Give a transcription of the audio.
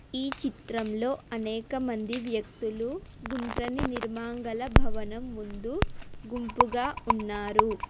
ఈ చిత్రంలో అనేక మంది వ్యక్తులు గుండ్రని నిర్మాణగల భవనం ముందు గుంపుగా ఉన్నారు.